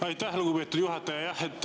Aitäh, lugupeetud juhataja!